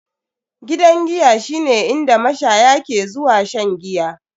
Gidan giya shine inda mashaya ke zuwa shan giya.